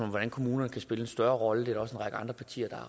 om hvordan kommunerne kan spille en større rolle det række andre partier